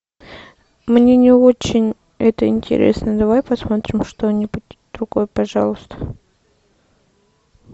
мне не очень это интересно давай посмотрим что нибудь другое пожалуйста